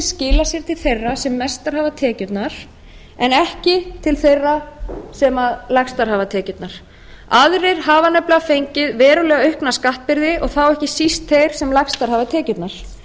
skilað sér til þeirra sem mestar hafa tekjurnar en ekki til þeirra sem lægstar hafa tekjurnar aðrir hafa nefnilega fengið verulega aukna skattbyrði og þá ekki síst þeirra sem lægstar hafa tekjurnar